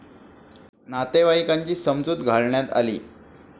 नातेवाईकांची समजूत घालण्यात आली.